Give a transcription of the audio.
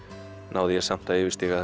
næ ég samt að yfirstíga